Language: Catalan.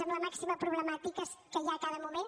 amb la màxima problemàtica que hi ha a cada moment